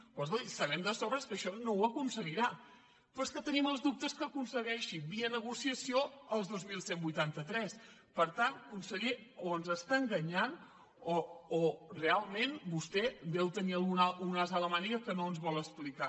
però escolti sabem de sobres que això no ho aconseguirà però és que tenim els dubtes que aconsegueixi via negociació els dos mil cent i vuitanta tres per tant conseller o ens està enganyant o realment vostè té un as a la màniga que no ens vol explicar